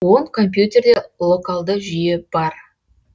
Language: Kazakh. он компьютерде локалды жүйе бар